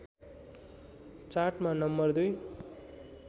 चार्टमा नम्बर २